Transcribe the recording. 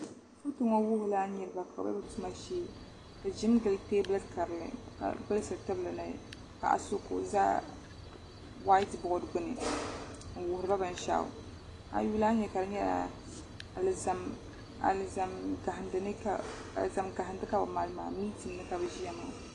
Toto ŋo wuhurila niraba ka bi bɛ bi ʒimi jɛli teebuli karili ka gbulisiri tibili ni paɣa so ka o ʒɛ whait bood gbuni n wuhiriba binshaɣu a ayi yuli a ni nyɛ ka di nyɛla alizan gahandili ka bi mali maa mintin ni ka bi ʒiya maa